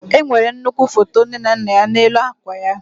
Enwere nnukwu foto nke nne na nna ya n'elu akwa ya.